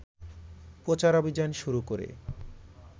প্রচারাভিযান শুরু করে